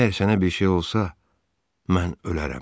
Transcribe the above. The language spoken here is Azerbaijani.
Əgər sənə bir şey olsa, mən ölərəm.